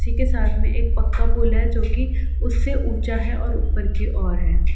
उसी के साथ मे एक पक्का पुल है जो कि उससे ऊंचा है और ऊपर की ओर है।